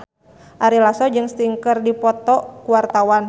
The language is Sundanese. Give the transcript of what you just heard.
Ari Lasso jeung Sting keur dipoto ku wartawan